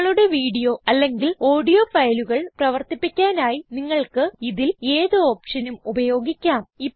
നിങ്ങളുടെ വീഡിയോ അല്ലെങ്കിൽ ഓഡിയോ ഫയലുകൾ പ്രവർത്തിപ്പിക്കാനായി നിങ്ങൾക്ക് ഇതിൽ ഏത് ഓപ്ഷനും ഉപയോഗിക്കാം